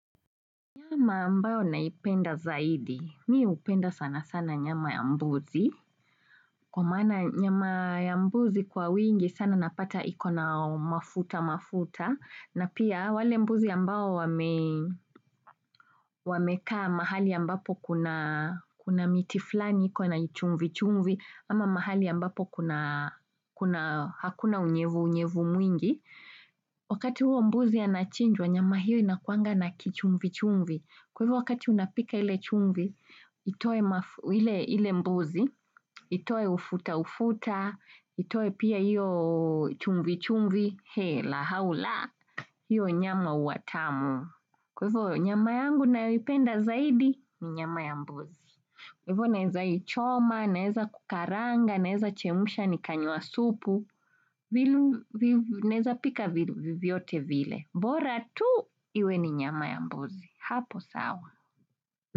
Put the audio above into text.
Nyama ambayo naipenda zaidi. Mimi hupenda sana sana nyama ya mbuzi. Kwa maana nyama ya mbuzi kwa wingi sana napata iko na mafuta mafuta. Na pia wale mbuzi ambao wamekaa mahali ambapo kuna miti fulani iko na chumvi chumvi, ama mahali ambapo hakuna unyevu unyevu mwingi. Wakati huo mbuzi anachinjwa, nyama hiyo inakuanga na kichumvi chumvi. Kwa hivyo wakati unapika ile chumvi, itoe ile mbuzi, itoe ufuta ufuta, itoe pia hiyo chumvi chumvi, la hau la, hiyo nyama huwa tamu. Kwa hivyo wakati unapika ile chumvi, ile mbuzi, itoe ufuta ufuta, itoe pia hiyo chumvi chumvi, la hau la, hiyo nyama huwa tamu. Hivyo naweza ichoma, naweza kukaranga, naweza chemusha nikanywa supu, naweza pika vyovyote vile. Bora tu iwe ni nyama ya mbuzi. Hapo sawa.